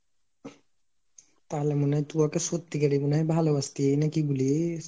তাহলে মনে হয় তু ওকে সত্যিকারি মানে হয় ভালবাসতি না কি বুলিস?